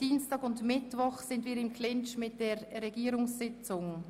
Betreffend Dienstag und Mittwoch liegen wir im Clinch mit der Regierungssitzung.